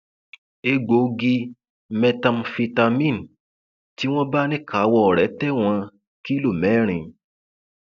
egbòogi methamphetamine tí wọn bá níkàáwọ rẹ tẹwọn kìlọ mẹrin